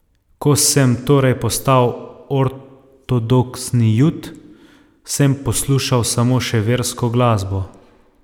Ko sem torej postal ortodoksni Jud, sem poslušal samo še versko glasbo.